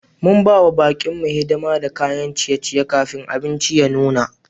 Muna ba wa baƙi mu hidima da kayan ciye-ciye kafin abinci ya nuna.